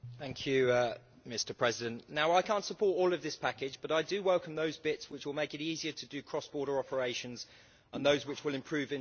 Mr President, I can't support all of this package, but I do welcome those bits which will make it easier to do cross border operations and those which will improve interoperability.